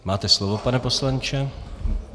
Máte slovo, pane poslanče.